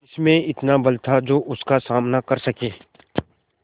किसमें इतना बल था जो उसका सामना कर सके